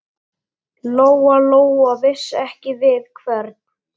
Lóa-Lóa vissi ekki við hvern.